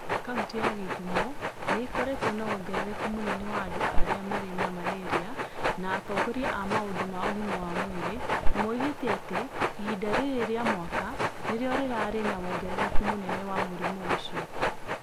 Kaunti ya gĩthumo nĩ ĩkoretwo na wongerereku mũnene wa andũ arĩa marĩ na malaria na atongoria a maũndũ ma ũgima wa mwĩrĩ nĩ moigĩte atĩ ihinda rĩrĩ rĩa mwaka nĩrĩo rĩraarĩ na wongerereku mũnene wa mũrimũ ũcio.